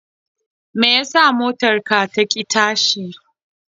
Me ya sa motar taka ta ƙi tashi?